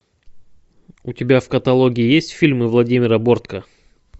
у тебя в каталоге есть фильмы владимира бортко